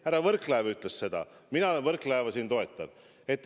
Härra Võrklaev ütles seda ja mina Võrklaeva siin toetan.